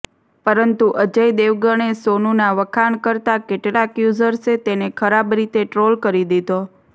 પરંતુ અજય દેવગણે સોનૂના વખાણ કરતાં કેટલાક યૂઝર્સે તેને ખરાબ રીતે ટ્રોલ કરી દીધો